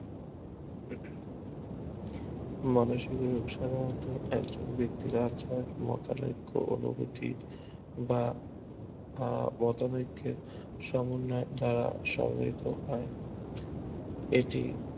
মানসিক রোগ সাধারণত একজন ব্যাক্তির মাঠের অনুভূতি বা সমন্বিত হয়